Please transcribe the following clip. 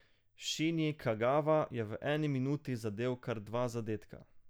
Šinji Kagava je v eni minuti zadel kar dva zadetka.